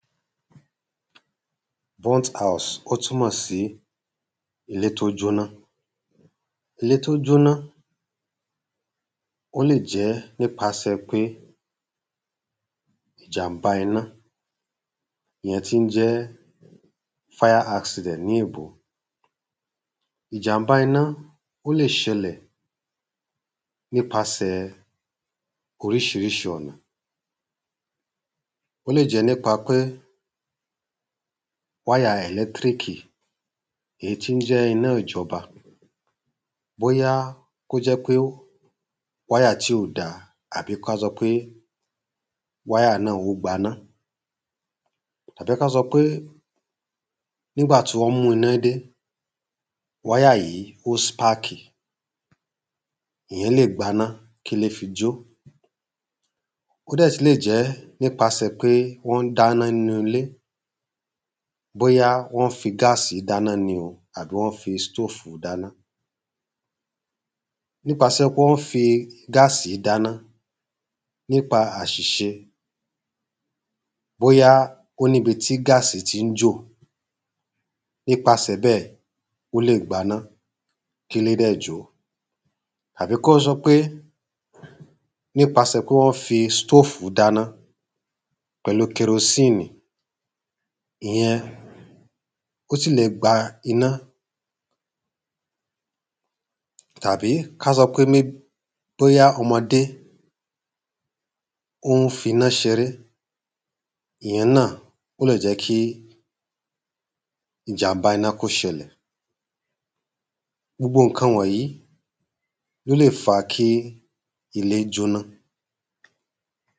‘Burnt house’ ó túmọ̀ sí ilé t’ó jóná. Ilé t’ó jóná ó lè jẹ́ n’ipasẹ̀ pé ìjàmbá iná ìyẹn tí ń jẹ́ ‘Fire accident’ ní èbó. Ìjàmbá iná ó lè ṣẹlẹ̀ n’ipasẹ̀ oríṣiríṣi ọ̀nà. Ó lè jẹ́ n’ípa pé wáyà ẹ̀lẹ́tríkì èyí tí ń jẹ́ iná ìjọba bóyá kó jẹ́ pé wáyà tí ò da àbí ká sọ pé wáyà náà ó gbaná. Àbí k’á sọ pé n’ígbà tí wọ́n mú iná dé, wáyà yìí ó spákì ìyẹn lè gbaná k’ílé fi jó Ó dẹ́ tú lè jẹ́ n’ípasẹ̀ pé wọ́n dáná nú ‘lé Bóyá wọ́n ń fi gáàsì dáná ni o àbí wọ́n fi stófù dáná N’ípasẹ̀ pé wọ́n fi gáàsì dáná n‘ípa àṣìṣe Bóyá ó n’íbi tí gáàsì tí ń jò N’ípasẹ̀ bẹ́ẹ̀, ó lè gbaná k’ílé dẹ̀ jó. Àbí kọ́ sọ pé n’ípasẹ̀ pé wọ́n fi stófù dáná pẹ̀lu kẹrosíìnì Ìyẹn ó sì lè gba iná. Tàbí k’a sọ pé bóyá ọmọdé ó ń f’iná ṣ’eré Ìyẹn ó lè jẹ́ kí ìjàmbá iná k’ó ṣẹlẹ̀ Gbogbo ǹkan wọ̀nyí l’ó lè fa kí ilé jóná.